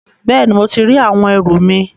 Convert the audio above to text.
Bẹẹni, mo ti ri àwọn ẹrù mi